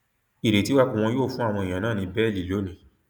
ìrètí wà pé wọn yóò fún àwọn èèyàn náà ní bẹẹlí lónìí